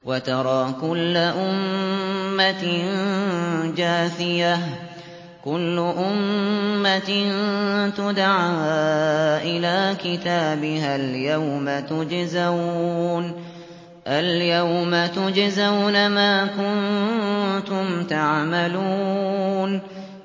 وَتَرَىٰ كُلَّ أُمَّةٍ جَاثِيَةً ۚ كُلُّ أُمَّةٍ تُدْعَىٰ إِلَىٰ كِتَابِهَا الْيَوْمَ تُجْزَوْنَ مَا كُنتُمْ تَعْمَلُونَ